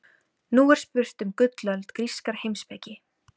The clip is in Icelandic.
Nú er spurt um gullöld grískrar heimspeki.